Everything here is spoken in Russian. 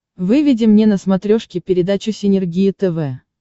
выведи мне на смотрешке передачу синергия тв